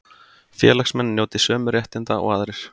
Félagsmenn njóti sömu réttinda og aðrir